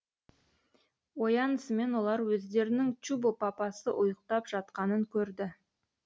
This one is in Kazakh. оянысымен олар өздерінің чубо папасы ұйқтап жатқанын көрді